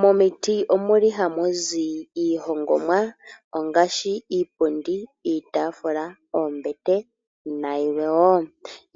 Momiiti omuli hamu zi iihongomwa ongaashi iipundi, iitafula, oombete nayilwe wo.